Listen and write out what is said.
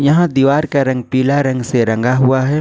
यहां दीवार का रंग पीला रंग से रंगा हुआ है।